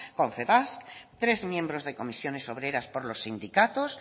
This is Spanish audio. confebask tres miembros de comisiones obreras por los sindicatos